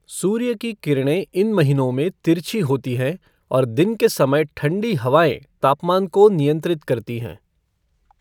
सूर्य की किरणें इन महीनों में तिरछी होती हैं और दिन के समय ठंडी हवाएं तापमान को नियंत्रित करती हैं।